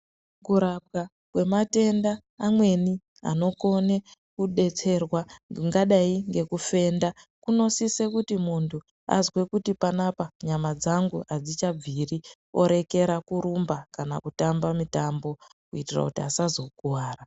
Kurapwa kwematenda amweni anokone kudetserwa ingadai ngekufenda kunosisa kuti mundu azwe kuti panapa nyama dzangu adzichabviri orekera kurumba kana kutamba mutambo kuitira asazokuwara.